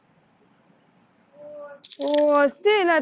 हो असेलच